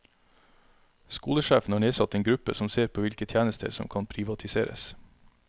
Skolesjefen har nedsatt en gruppe som ser på hvilke tjenester som kan privatiseres.